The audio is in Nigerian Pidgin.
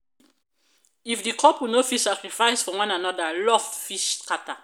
if di couple no fit sacrifice for one anoda love fit shatter.